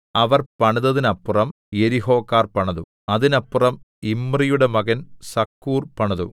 അവർ പണിതതിനപ്പുറം യെരിഹോക്കാർ പണിതു അതിനപ്പുറം ഇമ്രിയുടെ മകൻ സക്കൂർ പണിതു